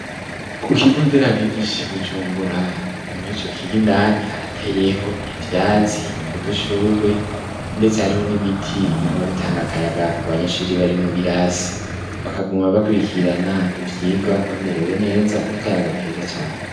Ku kigo nderabigisha i Bujumbura muri ico kigo indani harateyeho ivyatsi, udushurwe, ndetse hariho n'ibiti biguma bitanga akayaga ku banyeshure bari mu birasi bakaguma bakurikirana ivyigwa bamerewe neza n'akayaga keza cane.